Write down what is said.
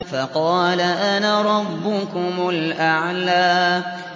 فَقَالَ أَنَا رَبُّكُمُ الْأَعْلَىٰ